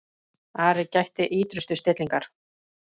Ari gætti ýtrustu stillingar.